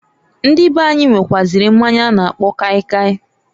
Ndị beanyi, nwekwuaziri mmanya a na-akpọ kaị kaị.